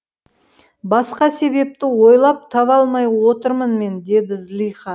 басқа себепті ойлап таба алмай отырмын мен деді зылиха